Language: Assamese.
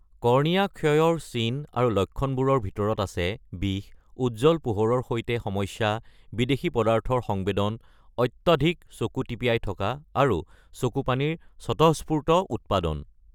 কৰ্ণিয়া ক্ষয়ৰ চিন আৰু লক্ষণবোৰৰ ভিতৰত আছে বিষ, উজ্জ্বল পোহৰৰ সৈতে সমস্যা, বিদেশী-পদাৰ্থৰ সংবেদন, অত্যাধিক চকু টিপিয়াই থকা, আৰু চকুপানীৰ স্বতঃস্ফূৰ্ত উৎপাদন।